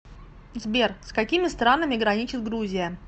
сбер с какими странами граничит грузия